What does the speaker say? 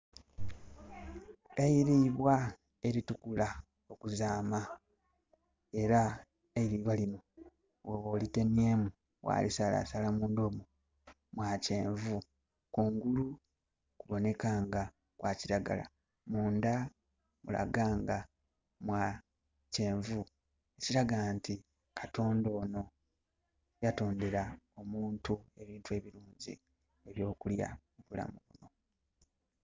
Eilibwa elitukula okuzaama. Era eilibwa lino bwoba olitemyeemu ghalisalasala mundha omwo, mwa kyenvu. Kungulu kuboneka nga kwa kiragala, mundha mulaga nga mwa kyenvu. Ekiraga nti katonda onho yatondera omuntu ebintu ebirungi eby'okulya mu bulamu.